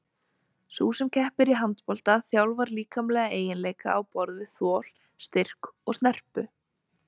Sú sem keppir í handbolta þjálfar líkamlega eiginleika á borð við þol, styrk og snerpu.